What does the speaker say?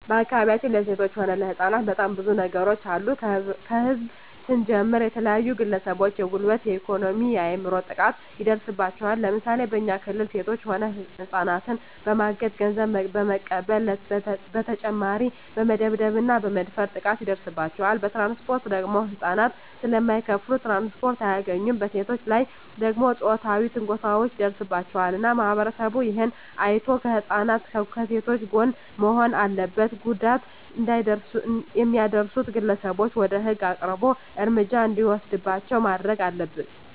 በአካባቢያችን ለሴቶች ሆነ ለህጻናት በጣም ብዙ ነገሮች አሉ ከህዝብ ስንጀምር የተለያዩ ግለሰቦች የጉልበት የኤኮኖሚ የአይምሮ ጥቃት ይደርስባቸዋል ለምሳሌ በኛ ክልል ሴቶች ሆነ ህጻናትን በማገት ገንዘብ በመቀበል በተጨማሪ በመደብደብ እና በመድፈር ጥቃት ይደርስባቸዋል በትራንስፖርት ደግሞ ህጻናት ስለማይከፋሉ ትራንስፖርት አያገኙም በሴቶች ላይ ደግሞ ጾታዊ ትንኮሳዎች ይደርስባቸዋል እና ማህበረሰቡ እሄን አይቶ ከህጻናት ከሴቶች ጎን መሆን አለበት ጉዳት የሚያደርሱት ግለሰቦች ወደ ህግ አቅርቦ እርምጃ እንዲወሰድባቸው ማረግ አለብን